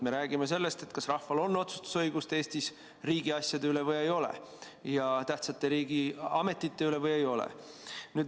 Me räägime sellest, kas rahval on Eestis õigust otsustada riigiasjade üle või ei ole, ka tähtsate riigiametite üle või ei ole.